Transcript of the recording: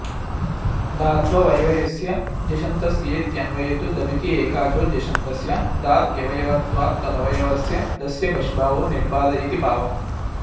धात्ववयवस्य झषन्तस्येत्यन्वये तु दभिति एकाचो झषन्तस्य धात्वयवत्वात्तदवयवस्य दस्य भष्भावो निर्बाध इति भावः